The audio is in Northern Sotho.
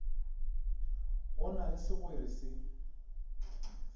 go na le segwere se